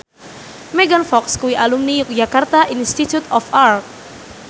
Megan Fox kuwi alumni Yogyakarta Institute of Art